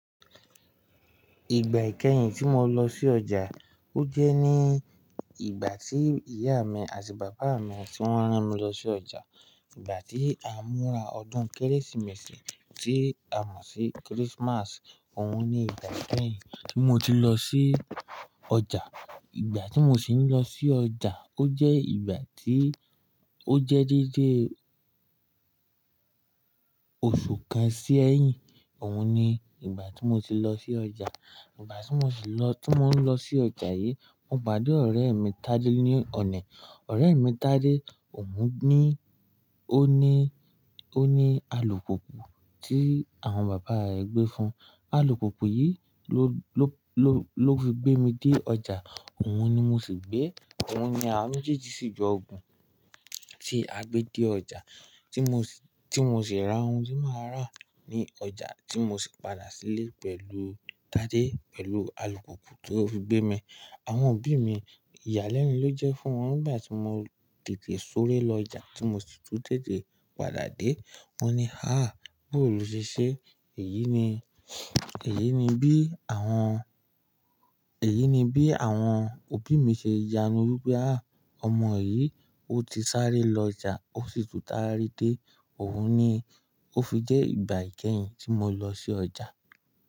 Ìgbà ìkẹ́yìn tí mo lọ sí ọjà, ó jẹ́ ní ìgbà tí ìyá mi àti bàbá mi tí wọ́n rán mi lọ sí ọjà. Ìgbà tí a ń múra ọdún Kérésìmesì tí a mọ̀ sí Christmas, òun ni ìgbà kẹ́yìn tí mo ti lọ sí ọjà. Ìgbà tí mo sì ń lọ sí ọjà, ó jẹ́ ìgbà tí ó jẹ́ déédéé oṣù kan sí ẹ̀yìn. Òun ni ìgbà tí mo ti lọ sí ọjà. Ìgbà tí mo sì lọ, tí mò ń lọ sí ọjà yìí, mo pade ọ̀rẹ́ mi Tádé ní ọ̀nà. Ọ̀rẹ́ mi Tádé, òun ní, ó ní, ó ní alùpùpù tí àwọn bàbá rẹ̀ gbé fun. Alùpùpù yìí ló, ló, ló fi gbé mi dé ọjà. Òun ni mo sì gbé. Òun ni awa mejéèjì sí jọ gùn tí a gbé dé ọjà tí mo sì, tí mo sì ra ohun tí màá rà ní ọjà tí mo sì padà sílé pẹ̀lú Tádé, pẹ̀lú alùpùpù tó fi gbé mi. Àwọn òbí mi, ìyàlẹ́nu ló jẹ́ fún wọn nígbà tí mo tètè súré lọ ọjà tí mo sì tún tètè padà dé. Wón ní, "àh! Boo lo ṣé." Èyí ni, èyí ni bí àwọn, èyí ni bí àwọn òbí mi ṣe yanu wípé, "àh! Ọmọ yìí, ó ti sáré lọ ọjà, ó sì tún sare dé." Òun ni ó fi jẹ́ ìgbà ìkẹ́yìn tí mo lọ sí ọjà.